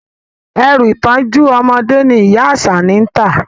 Ẹrù ìtọ́jú ọmọdé ni ìyá Àṣàní ń tà